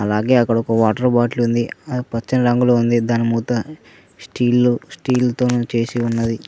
అలాగే అక్కడ ఒక వాటర్ బాటిల్ ఉంది అది పచ్చని రంగులో ఉంది దాని మూత స్టీల్ తో స్టీల్ తోను చేసి ఉన్నది.